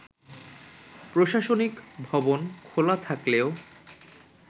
প্রশাসনিক ভবন খোলা থাকলেও